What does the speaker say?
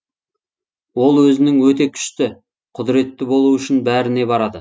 ол өзінің өте күшті құдіретті болуы үшін бәріне барады